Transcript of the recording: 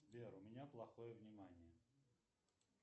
сбер у меня плохое внимание